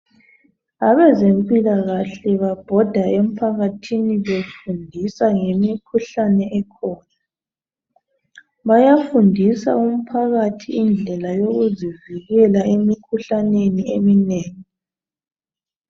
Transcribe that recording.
Abezempilakahle babhoda emphakathini befundisa ngemikhuhlane ekhona, bayafundisa umphakathi indlela zokuzivikela emikhuhlaneni eminengi